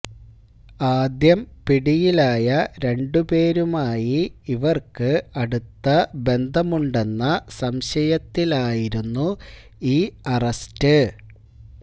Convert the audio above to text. ആദ്യം പിടിയിലായ രണ്ടുപേരുമായി ഇവർക്ക് അടുത്ത ബന്ധമുണ്ടെന്ന സംശയത്തിലായിരുന്നു ഈ അറസ്റ്റ്